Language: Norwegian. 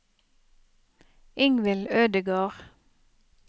Ingvill Ødegård